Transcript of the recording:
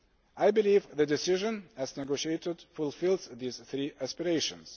I believe the decision, as negotiated, fulfils these three aspirations.